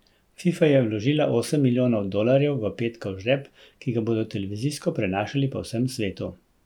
Fifa je vložila osem milijonov dolarjev v petkov žreb, ki ga bodo televizijsko prenašali po vsem svetu.